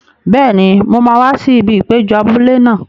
Bẹ́ẹ̀ni, mo máa wá sí ibi ìpéjọ abúlé náà.